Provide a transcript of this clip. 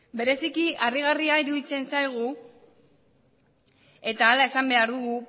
bereziki harrigarria iruditzen zaigu eta horrela esan behar dugu